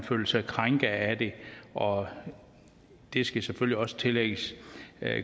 føler sig krænket af det og det skal selvfølgelig også tillægges